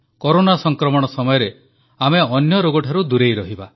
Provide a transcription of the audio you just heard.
corona ସଂକ୍ରମଣ ସମୟରେ ଆମେ ଅନ୍ୟ ରୋଗଠାରୁ ଦୂରେଇ ରହିବା